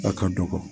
A ka dɔgɔ